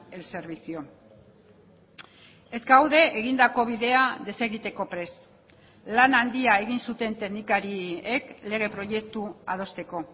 el servicio ez gaude egindako bidea desegiteko prest lan handia egin zuten teknikariek lege proiektua adosteko